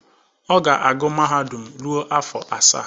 Ọ ga-agụ mahadum ruo afọ asaa.